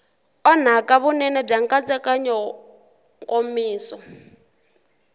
onhaka vunene bya nkatsakanyo nkomiso